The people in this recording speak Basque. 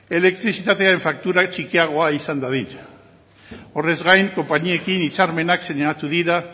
elektrizitatean faktura txikiagoa izan dadin horrez gain konpainiekin hitzarmenak sinatu dira